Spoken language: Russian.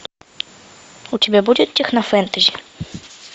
у тебя будет технофэнтези